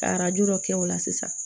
Ka arajo dɔ kɛ o la sisan